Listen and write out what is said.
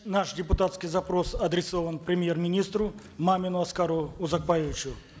наш депутатский запрос адресован премьер министру мамину аскару узакбаевичу